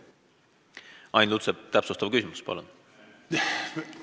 Ain Lutsepp, täpsustav küsimus, palun!